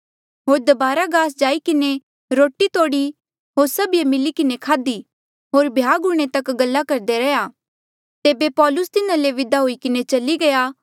होर दबारा गास जाई किन्हें रोटी तोड़ी होर सभिये मिली किन्हें खाधी होर भ्याग हूंणे तक गल्ला करदा रैंहयां तेबे पौलुस तिन्हा ले विदा हुई किन्हें चली गया